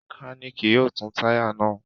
Mẹkáníkì yóò tú táyà náà.